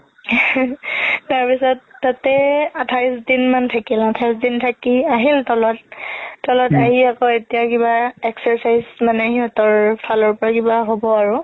তাৰ পিছত তাতে আঠাইশ দিন মান থাকিল আঠাইশ দিন মান থাকি আহিল তলত, তলত আহি আকৌ এতিয়া কিবা exercise মানে সিহতৰ ফালৰ পৰা কিবা হ'ব আৰু